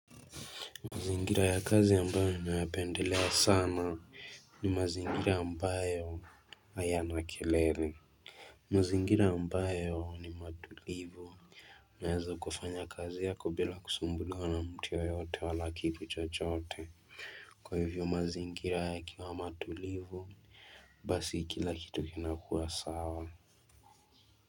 Mazingira ya kazi ambayo ni nayapendelea sana ni mazingira ambayo hayana kelele. Mazingira ambayo ni matulivu. Unaeza kufanya kazi yako bila kusumbuliwa na mtu yoyote wala kitu chochote. Kwa hivyo mazingira yakiwa matulivu, basi kila kitu kinakua sawa.